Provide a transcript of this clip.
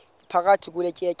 iphakathi kule tyeya